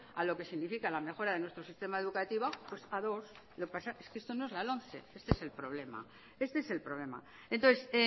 a lo que significa la mejora de nuestro sistema educativo pues para dos lo que pasa es que esto no es la lomce este es el problema entonces